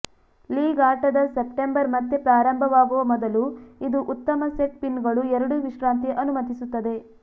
league ಆಟದ September ಮತ್ತೆ ಪ್ರಾರಂಭವಾಗುವ ಮೊದಲು ಇದು ಉತ್ತಮ ಸೆಟ್ ಪಿನ್ಗಳು ಎರಡೂ ವಿಶ್ರಾಂತಿ ಅನುಮತಿಸುತ್ತದೆ